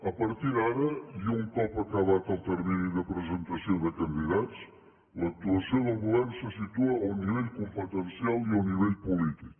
a partir d’ara i un cop acabat el termini de presentació de candidats l’actuació del govern se situa a un nivell competencial i a un nivell polític